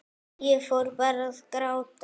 Ég fór bara að gráta.